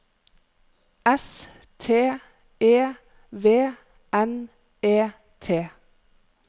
S T E V N E T